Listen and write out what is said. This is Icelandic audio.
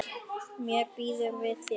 Mér býður við þér.